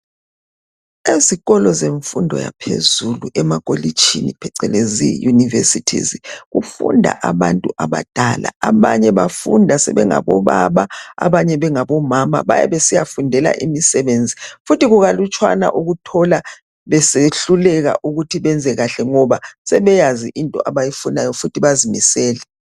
Ezikolo zemfundo yaphezulu emakolitshini phecelezi unirvesities kufunda abantu abadala abanye bafunda sebengabo baba abanye bengabo mama besiyafundela imisebenzi futhi kukalutshwana ukuthola besehluleka ukuthi benze kahle ngoba sebeyazi into abayifunayo futhi bazimisele